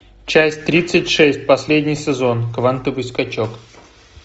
часть тридцать шесть последний сезон квантовый скачок